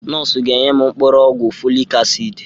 Nọọsụ ga-enye m mkpụrụ ọgwụ folik asid.